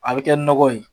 A bɛ kɛ nɔgɔ ye